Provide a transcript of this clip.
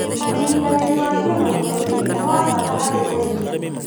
ũnyitanĩri wa kĩmabũrũri nĩ wa bata harĩ ũrĩmi